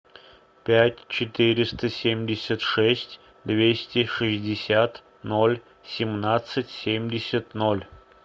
пять четыреста семьдесят шесть двести шестьдесят ноль семнадцать семьдесят ноль